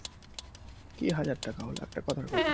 কি হাজার টাকা হলে হবে কথার কথা